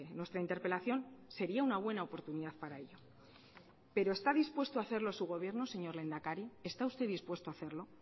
nuestra interpelación sería una buena oportunidad para ello pero está dispuesto a hacerlo su gobierno señor lehendakari está usted dispuesto a hacerlo